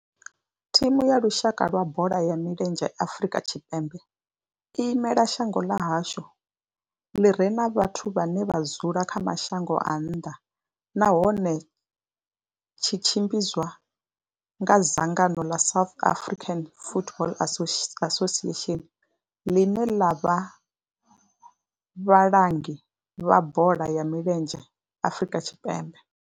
Thimu ya lushaka ya bola ya milenzhe ya Afrika Tshipembe i imela shango ḽa hashu ḽi re na vhathu vhane vha dzula kha mashango a nnḓa nahone tshi tshimbidzwa nga dzangano ḽa South African Football Association, ḽine ḽa vha vhalangi vha bola ya milenzhe Afrika Tshipembe.